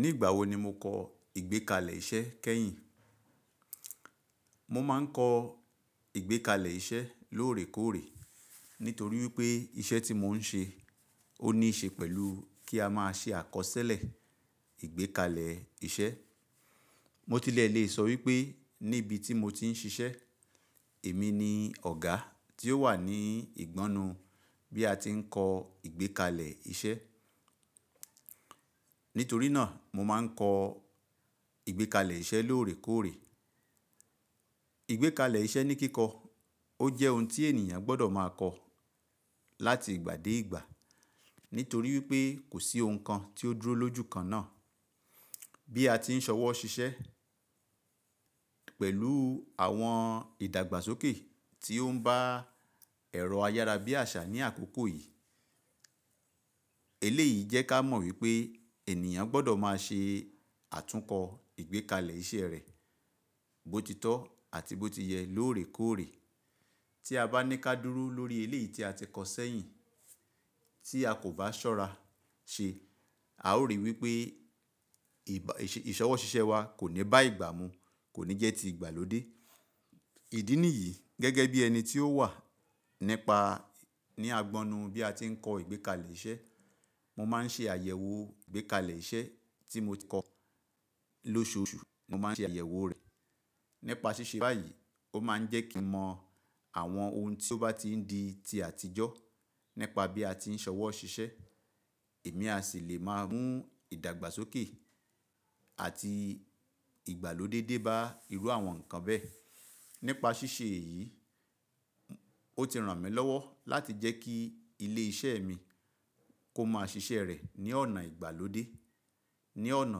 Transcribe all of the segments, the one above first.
Nígbà wo ni mo kọ́ ìgbékalẹ̀ iṣẹ́ kẹ́yìn? Mo máa ń kọ ìgbékalẹ̀ iṣẹ́ lóòrèkóòrè nítorí wípé iṣẹ́ tí mo ń ṣe ó níí ṣe pẹ̀lú kí a máa ṣe àkọsílẹ̀ ìgbékalẹ̀ iṣẹ́. Mo tilẹ̀ lè sọ wípé níbi tí mo ti ń ṣiṣẹ́, èmi ni ọ̀gá tí ó wà ní ìgbọnnu bí a ti ń kọ ìgbékalẹ̀ iṣẹ́. Nítorí náà mo máa ń kọ ìgbékalẹ̀ iṣẹ́ lóòrèkóòrè. Ìgbékalẹ̀ iṣẹ́ ní kíkọ, ó jẹ́ ohun tí ènìyàn gbọdọ̀ máa kọ láti ìgbà dé ìgbà, nítorí wípé kò sí ohun kan tí ó dúró lójú kan náà. Bí a ti ń ṣọwọ́ ṣiṣẹ́ pẹ̀lú àwọn ìdàgbàsókè tí ó ń bá ẹ̀rọ ayára bí àṣà ní àkókò yìí. Eléyìí jẹ́ ká mọ̀ wípé ènìyàn gbọdọ̀ máa ṣe àtúnkọ ìgbékalẹ̀ iṣẹ́ rẹ̀, bó ti tọ́ àti bó ti yẹ lóòrèkóòrè. Tí a bá ní ká dúró lórí eléyìí tí a ti kọ sẹ́yìn, tí a kò bá ṣọ́ra ṣe, a ó rí wípé ìṣọwọ́ ṣiṣẹ́ wa kò ní bá ìgbà mu, kò ní jẹ́ ti ìgbàlódé. Ìdí nìyí gẹ́gẹ́ bí ẹni tí ó wà nípa ní àgbọnnu bí a ti ń kọ ìgbékalẹ̀ iṣẹ́, mo máa ń ṣe àyẹ̀wò ìgbékalẹ̀ iṣẹ́ tí mo ti kọ lóṣùọṣù, mo máa ń ṣe àyẹ̀wò rẹ̀. Nípa ṣíṣe báyìí, ó máa ń jẹ́ kí n mọ àwọn ohun tí ó bá ti ń di ti àtijọ́ nípa bí a ti ń ṣọwọ́ ṣiṣẹ́. Èmi a sì lè máa mú ìdàgbàsókè àti ìgbàlódé dé bá irú àwọn nǹkan bẹ́ẹ̀. Nípa ṣíṣe èyí, ó ti ràn mí lọ́wọ́ láti jẹ́ kí ilé iṣẹ́ mi kó máa ṣiṣẹ́ rẹ̀ ní ọ̀nà ìgbàlódé, ní ọ̀nà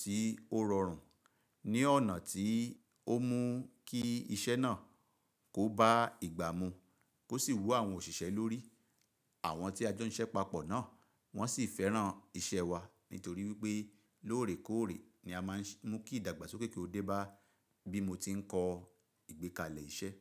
tí ó rọrùn, ní ọ̀nà tí ó mú kí iṣẹ́ náà kó bá ìgbà mu kó sì wú àwọn òṣìṣẹ́ lórí. Àwọn tí a jọ ń ṣe papọ̀ náà wọ́n sì fẹ́ràn iṣẹ́ wa nítorí wípé lóòrèkóòrè ni a máa ń mú kí ìdàgbàsókè kí ó dé bá bí mo ti ń kọ ìgbékalẹ̀ iṣẹ́.